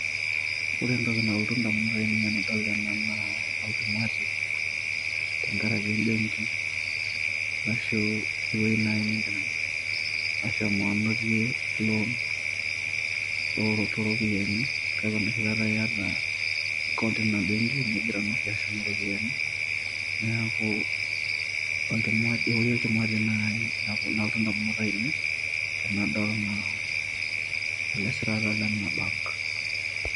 ore entoki nalotu ndamunot ainei tenadol ena naa olchumati tenkaraki embenki arashu ewueji naaji nindim ashomo anotie loan oo toropiani, kake enoshikata iyata account eina benki nigira nooshi ashumie ropiani. neeku olchu... ewueji olchumati nalotu ndamunot ainei tenadol ele sirata lena bank